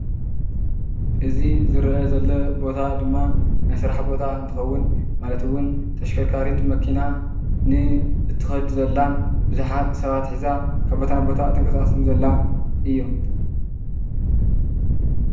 እዚ ዝርአ ዘሎ ቦታ ድማ ናይ ስራሕ ቦታ እንትኸውን ማለት እውን ተሽከርካሪት መኪና ንእትኸድ ዘላን ብዙሓት ሰባት ሒዛ ካብ ቦታ ናብ ቦታ እትንቀሳቀስን ዘላ እዩ።